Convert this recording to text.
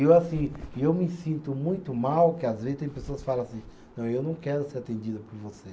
E eu assim, e eu me sinto muito mal que às vezes tem pessoas que falam assim, não, eu não quero ser atendida por você.